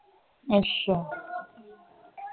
ਅਸ਼ਾ